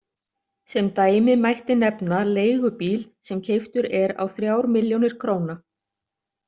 Sem dæmi mætti nefna leigubíl sem keyptur er á þrír milljónir króna.